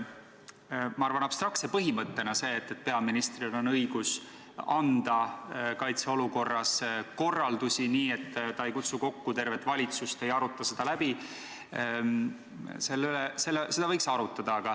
Ma arvan, et abstraktse põhimõttena võiks seda, et peaministril on õigus anda kaitseolukorras korraldusi nii, et ta ei kutsu kokku tervet valitsust ega aruta seda läbi, täiesti arutada.